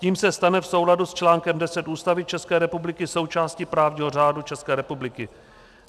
Tím se stane v souladu s článkem 10 Ústavy České republiky součástí právního řádu České republiky.